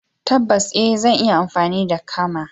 Tabbas eh! Zan iya amfani da kama.